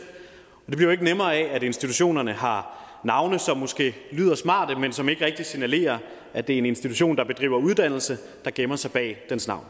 og det bliver jo ikke nemmere af at institutionerne har navne som måske lyder smarte men som ikke rigtig signalerer at det er en institution der bedriver uddannelse der gemmer sig bag dens navn